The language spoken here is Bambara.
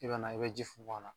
I bɛ na i bɛ ji funfun a na